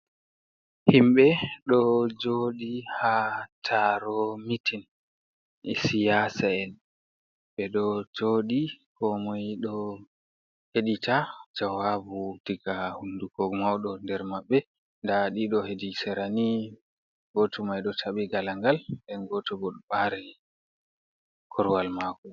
Himɓe ɗo joɗi ha taro mitin ɗi siyasa'en. Ɓe ɗo joɗi komoi ɗo heɗita jawabu daga hunduko mauɗo nder mabbe. Nda ɗiɗo hedi sera ni, goto mai ɗo taɓi galangal, nden goto bo ɗo bare korwal mako.